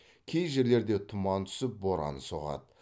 кей жерлерде тұман түсіп боран соғады